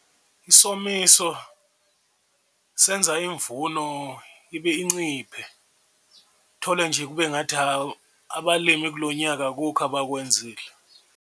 Isomiso senza imvuno ibe inciphe uthole nje kube ngathi hawu abalimi kulo nyaka akukho abakwenzile.